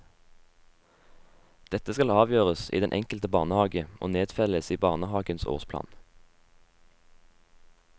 Dette skal avgjøres i den enkelte barnehage og nedfelles i barnehagens årsplan.